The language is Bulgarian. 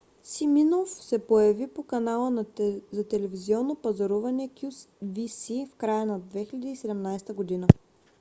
симиноф се появи по канала за телевизионно пазаруване qvc в края на 2017 г